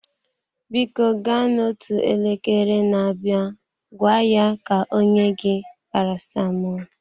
Biko gaa n'otu elekere na-abịa gwa ya ka o nye gị paracetamol.